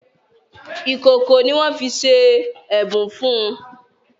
Ìkòkò ní wón fí ṣe ẹbùn fún.